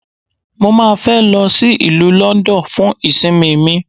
Mo má a fẹ́ lọ sí ìlú London fún ìsinmi mi.